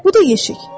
Bu da yeşik.